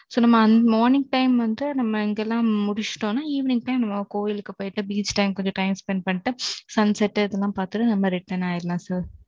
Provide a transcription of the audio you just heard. So, நம்ம morning time வந்து, நம்ம இங்கெல்லாம் முடிச்சிட்டோம்ன்னா, evening time நம்ம கோயிலுக்கு போயிட்டு, beach time கொஞ்சம் time spend பண்ணிட்டு, sunset இதெல்லாம் பாத்துட்டு, நம்ம return ஆயிடலாம் sir